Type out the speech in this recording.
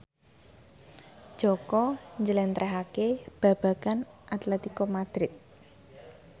Jaka njlentrehake babagan Atletico Madrid